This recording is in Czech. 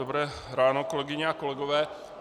Dobré ráno, kolegyně a kolegové.